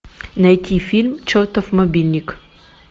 найти фильм чертов мобильник